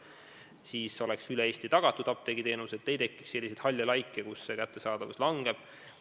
Siis oleks apteegiteenus üle Eesti tagatud ega tekiks selliseid halle laike, kus kättesaadavus halveneb.